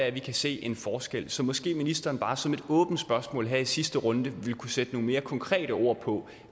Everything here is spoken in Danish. at vi kan se en forskel så måske ministeren bare som et åbent spørgsmål her i sidste runde ville kunne sætte nogle mere konkrete ord på